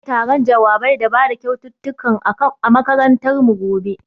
Za'ai taron jawabai da bada kyaututtukan a makarantar mu gobe.